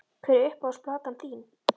Hver er uppáhalds platan þín?